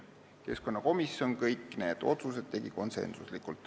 Keskkonnakomisjon tegi kõik need otsused konsensuslikult.